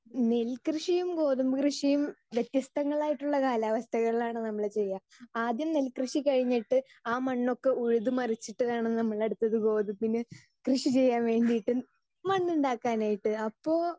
speaker 2 നെൽ കൃഷിയും ഗോതമ്പ് കൃഷിയും വ്യത്യസ്തങ്ങളായിട്ടുള്ള കാലാവസ്ഥകളിലാണ് നമ്മൾ ചെയ്യേ ആദ്യം നെൽ കൃഷി കഴിഞ്ഞിട്ട് ആ മണ്ണൊക്കെ ഉഴുത് മരിച്ചിട്ടുവേണം നമ്മൾ അടുത്തത് ഗോതമ്പിന് കൃഷി ചെയ്യാൻ വേണ്ടിട്ട് മണ്ണുണ്ടാകാനായിട്ട് അപ്പോൾ